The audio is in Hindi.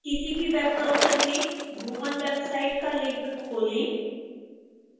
किसी भी वेब ब्राउज़र में bhuvan वेबसाइट का लिंक खोलें